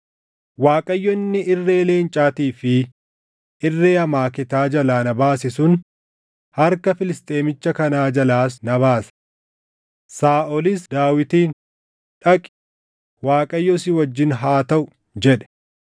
Waaqayyo inni irree leencaatii fi irree amaaketaa jalaa na baase sun harka Filisxeemicha kanaa jalaas na baasa.” Saaʼolis Daawitiin, “Dhaqi, Waaqayyo si wajjin haa taʼu” jedhe.